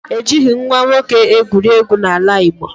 E jighị nwa nwoke egwuregwu n'ala Igbo